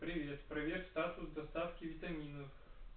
привет проверь статус доставки витаминов